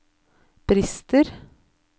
brister